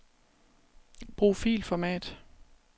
Brug filformat.